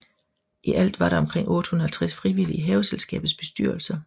I alt er der omkring 850 frivillige i Haveselskabets bestyrelser